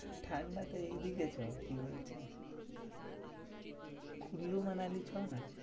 ঠান্ডাতে এইদিকে চো, কি বলছি? কুল্লু মানালি চো না?